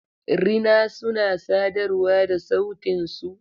Rina suna sadarwa da sautin su.